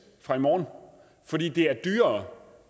fra i morgen fordi det er dyrere